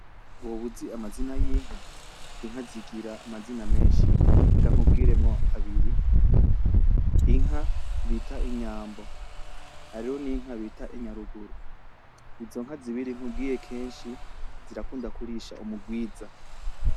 Woba uzi amazina yinka, inka zigira amazina meshi reka nkubwiremwo abiri, inka bita Inyambo hariho n’inki bita inyaruguru izo nka zibiri nkubwiye keshi zirakunda kurisha umugwiza.